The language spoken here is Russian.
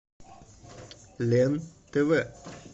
лен тв